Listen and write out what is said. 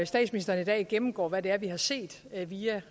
statsministeren i dag gennemgår hvad det er vi har set via